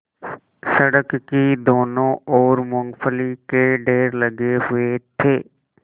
सड़क की दोनों ओर मूँगफली के ढेर लगे हुए थे